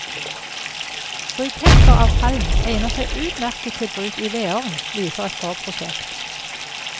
Briketter av halm egner seg utmerket til bruk i vedovn, viser et forprosjekt.